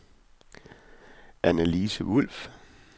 Annalise Wolff